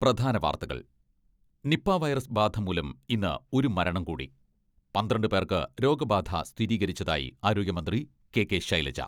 പ്രധാന വാർത്തകൾ, Nipah virus ബാധ മൂലം ഇന്ന് ഒരു മരണം കൂടി , പന്ത്രണ്ട് പേർക്ക് രോഗബാധ സ്ഥിരീകരിച്ചതായി ആരോഗ്യമന്ത്രി കെ.കെ. ശൈലജ